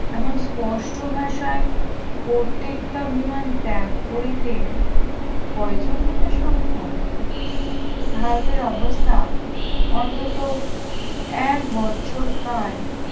এমন স্পষ্ট ভাষায় কর্ত্রীত্তাভিমান ত্যাগ করিতে কয়জন নেতা সক্ষম? ভারতের অবস্থা অন্তত এক বৎসরকাল